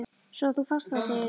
Svo að þú fannst það, segirðu?